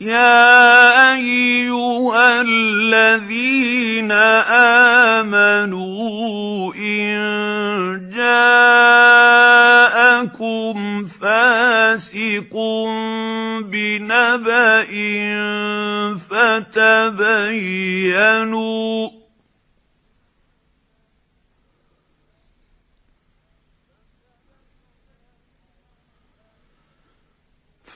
يَا أَيُّهَا الَّذِينَ آمَنُوا إِن جَاءَكُمْ فَاسِقٌ بِنَبَإٍ